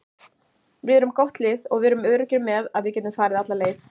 Við erum gott lið og við erum öruggir með að við getum farið alla leið.